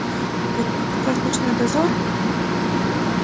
вот этот ваш ночной дозор